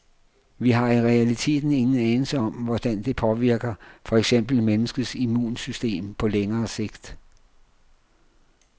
Vi har i realiteten ingen anelse om, hvordan det påvirker for eksempel menneskets immunsystem på længere sigt.